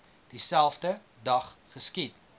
dieselfde dag geskiet